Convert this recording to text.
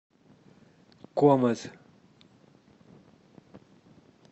комет